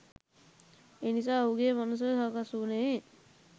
එනිසා ඔහුගේ මනස සකස් වුණේ